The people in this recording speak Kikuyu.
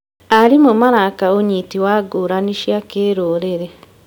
Arimũ maraka ũnyiti wa ngũrani cia kĩrũrĩrĩ.